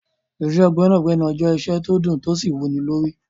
Iṣẹ́ gbẹ́nàgbẹnà jẹ́ iṣẹ́ tó dùn tó sì wúnilórí.